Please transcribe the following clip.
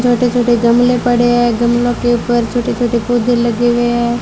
छोटे छोटे गमले पड़े हैं गमलों के ऊपर छोटे छोटे पौधे लगे हुए हैं।